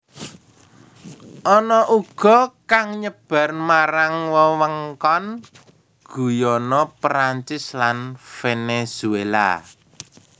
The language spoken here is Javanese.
Ana uga kang nyebar marang wewengkon Guyana Perancis lan Venezuela